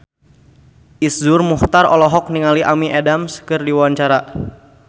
Iszur Muchtar olohok ningali Amy Adams keur diwawancara